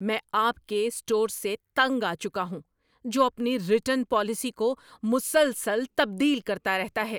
میں آپ کے اسٹور سے تنگ آ چکا ہوں جو اپنی ریٹرن پالیسی کو مسلسل تبدیل کرتا رہتا ہے۔